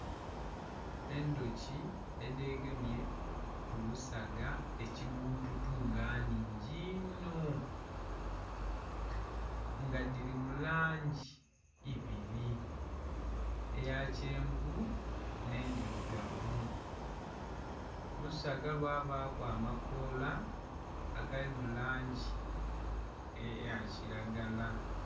Endhuki edhegemye kulusaga ekyibbututu nga nnhingi'nho nga dhiri mulangi ibiri eya kyenvu enhe dhirugavu olusaga lwabaku amakola agali mulangi eya kiragala